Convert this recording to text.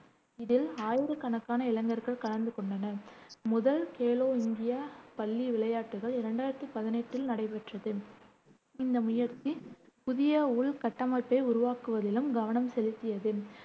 இதில் ஆயிரக்கணக்கான இளைஞர்கள் கலந்து கொண்டனர். முதல் கேலோ இந்தியா பள்ளி விளையாட்டுகள் இரண்டாயிரத்தி பதினெட்டில் நடைபெற்றது. இந்த முயற்சி புதிய உள்கட்டமைப்பை உருவாக்குவதிலும் கவனம் செலுத்தியது.